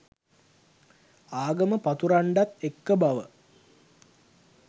ආගම පතුරන්ඩත් එක්ක බව.